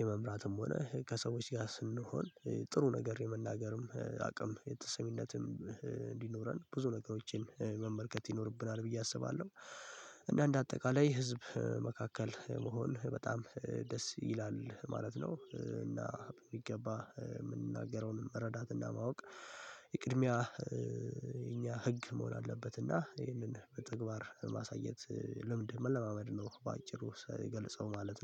የመምራትም ሆነ ከሰዎች ጋር ስንሆን ጥሩ ነገር የመናገርም አቅም የተሰሚነትም እንዲኖረን ብዙ ነገሮችን መመልከት ይኖርብናል ብዬ አስባለሁ እና እንደ አጠቃላይ ህዝብ መካከል መሆን በጣም ደስ ይላል ማለት ነው እና የሚገባ የምንናገረውን መረዳትና ማወቅ የቅድሚያ የኛ ህግ መሆን አለበትና ይህንን በተግባር ማሳየት ለምንድነው መለማመድ ነው በአጭሩ የገለጸው ማለት ነው።